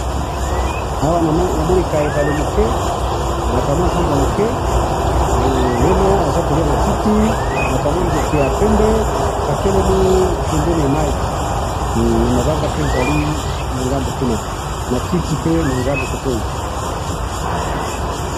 Awa namoni ka ebale muke ,na ka mua zamba muke ,meme aza ko lia matiti ,na ka mundeke ya pembe ,katelemi pembeni ya mai, mabanga pe ezali ngambo kuna matiti pe na ngambo cote oyo